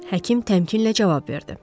Həkim təmkinlə cavab verdi.